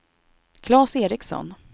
Claes Ericsson